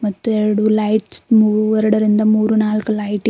ಮತ್ತು ಎರಡು ಲೈಟ್ಸ್ ಮೂ ಎರಡರಿಂದ ಮೂರು ನಾಲ್ಕು ಲೈಟ್ --